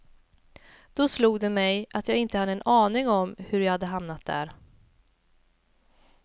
Då slog det mig att jag inte hade en aning om hur jag hade hamnat där.